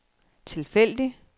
tilfældig